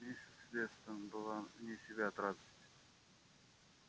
миссис вестон была вне себя от радости